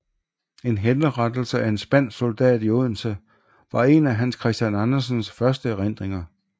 En henrettelse af en spansk soldat i Odense var en af Hans Christian Andersens første erindringer